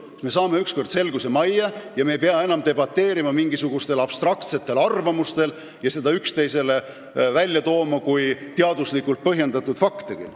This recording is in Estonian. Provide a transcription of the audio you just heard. Siis me saame ükskord selguse majja ja ei pea enam debateerima mingisuguste abstraktsete arvamuste põhjal ega tooma neid üksteisele välja kui teaduslikult põhjendatud fakte.